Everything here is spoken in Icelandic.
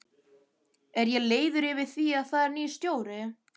Er ég leiður yfir því að það er nýr stjóri?